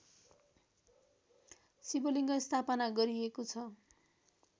शिवलिङ्ग स्थापना गरिएको छ